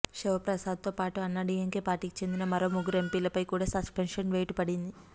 శివప్రసాద్ తో పాటు అన్నాడీఎంకే పార్టీకి చెందిన మరో ముగ్గురు ఎంపీలపై కూడా సస్పెన్షన్ వేటు పడింది